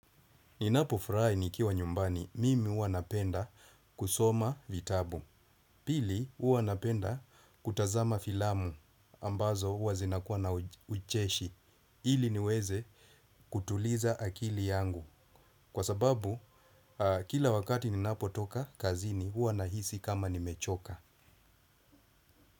Ninapofurahi nikiwa nyumbani mimi hua napenda kusoma vitabu. Pili hua napenda kutazama filamu ambazo hua zinakuwa na ucheshi ili niweze kutuliza akili yangu. Kwa sababu kila wakati ninapotoka kazini hua nahisi kama nimechoka.